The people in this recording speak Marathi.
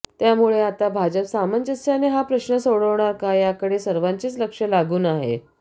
त्यामुळे आता भाजप सामंज्यस्याने हा प्रश्न सोडवणार का याकडे सर्वांचेच लक्ष लागून आहे